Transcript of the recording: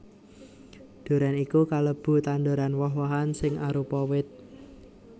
Durén iku kalebu tanduran woh wohan sing arupa wit